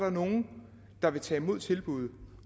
nogle der vil tage imod tilbuddet